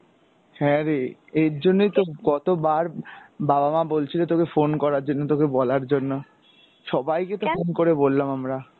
হ্যাঁরে এই জন্যে তো কতোবার বাবা মা বলছিলো তোকে phone করার জন্য, তোকে বলার জন্য, সবাই কে তো phone করে বললাম আমরা।